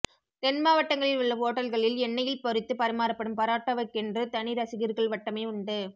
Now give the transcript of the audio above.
தென்மாவட்டங்களில் உள்ள ஓட்டல்களில் எண்ணெயில் பொறித்து பரிமாறப்படும் பரோட்டாவுக்கு கென்று தனி ரசிகர்கள் வட்டமே உண்டு